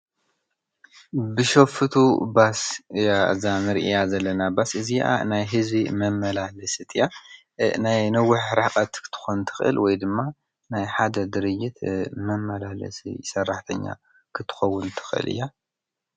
ብሸፍቱ ባስ እያ እዛ እንርእያ ዘለና ባስ እዝይኣ ናይ ህዝቢ መመላለሲት እያ። ናይ ነዊሕ ርሕቀት ክትኾን ትኽእል ወይ ድማ ናይ ሓደ ድርጅት መመላለሲት ሰራሕተኛ ክተኸውን ትኽእል እያ።